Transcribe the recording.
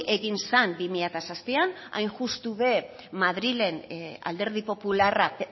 egin zen bi mila zazpian hain justu madrilen alderdi popularrak